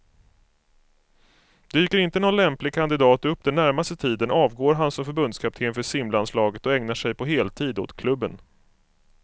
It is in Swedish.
Dyker inte någon lämplig kandidat upp den närmaste tiden avgår han som förbundskapten för simlandslaget och ägnar sig på heltid åt klubben.